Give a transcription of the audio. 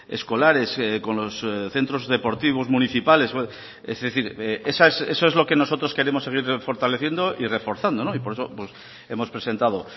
escolares con los centros deportivos municipales es decir eso es lo que nosotros queremos seguir fortaleciendo y reforzando y por eso hemos presentado